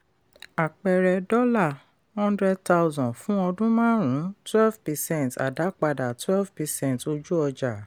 àpẹẹrẹ: dollar hundred thousand fún ọdún márùn-ún twelve percent àdápadà twelve percent ojú ọjà.